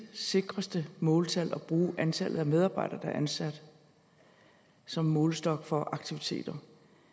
sikreste måltal at bruge antallet af medarbejdere der er ansat som målestok for aktiviteter